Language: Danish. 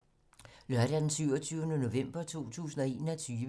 Lørdag d. 27. november 2021